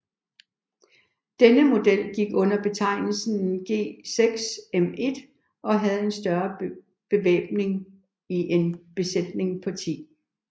Denne model gik under betegnelsen G6M1 og havde en større bevæbning og en besætning på 10